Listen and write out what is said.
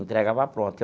Entregava pronta.